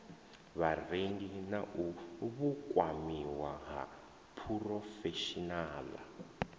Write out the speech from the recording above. vharengi na vhukwamiwa ha phurofeshinaḽa